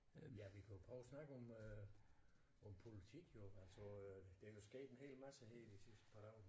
Ja vi kan jo prøve at snakke om øh om politik jo altså øh der jo sket en hel masse her de sidste par dage